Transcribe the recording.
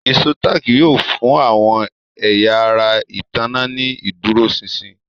Ìṣó táàkì yóò fún àwọn ẹ̀yà ara ìtanná ní ìdúróṣinṣin